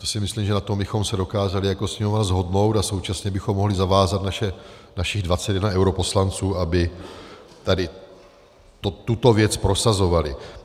To si myslím, že na tom bychom se dokázali jako Sněmovna shodnout, a současně bychom mohli zavázat našich 21 europoslanců, aby tady tuto věc prosazovali.